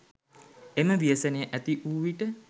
එම ව්‍යසනය ඇතිවූ විට